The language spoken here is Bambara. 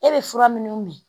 E bɛ fura minnuw min